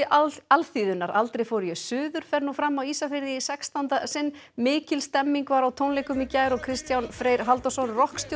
alþýðunnar aldrei fór ég suður fer nú fram á Ísafirði í sextánda sinn mikil stemning var á tónleikum í gær og Kristján Freyr Halldórsson